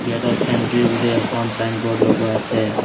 গেটত এণ্ট্ৰী বুলি এখন ছাইনব'ৰ্ড লগোৱা আছে।